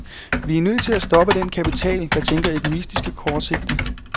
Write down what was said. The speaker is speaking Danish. Vi er nødt til at stoppe den kapital, der tænker egoistisk og kortsigtet.